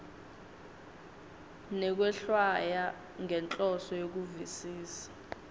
nekwehlwaya ngenhloso yekuvisisa